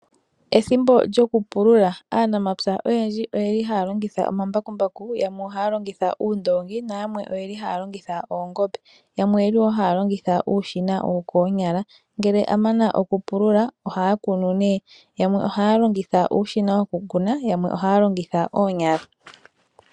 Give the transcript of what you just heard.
Ethimbo lyokupulula. Aanamapya oyendji oyeli haya longitha omambakumbaku yamwe ohaya longitha uundoongi, nayamwe oyeli haya longitha oongombe. Yamwe oyeli wo haya longitha uushina wokoonyala, ngele amana okupulula ohaya kunu ne. Yamwe ohaya longitha uushina wokukuna, yamwe ohaya longitha oonyala.